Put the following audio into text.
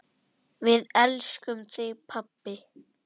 Við elskum þig, pabbi.